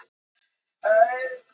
Æti skortir fyrir refinn